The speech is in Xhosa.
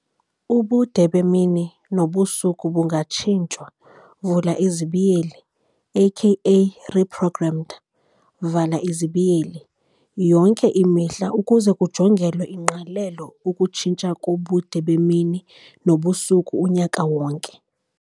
Ubude bemini nobusuku bungatshintshwa, AKA re-programmed, yonke imihla ukuze kujongelwe ingqalelo ukutshintsha kobude bemini nobusuku unyaka wonke.